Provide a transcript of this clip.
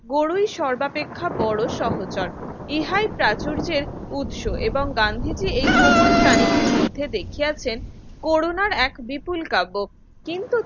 বরই সর্বাপেক্ষা বড় সহচর প্রাচুর্যের উৎস এবং গান্ধীজি এই কোমল প্রাণীটির মধ্যে দেখিয়াছেন করুনার এক বিপুল কাব্য কিন্তু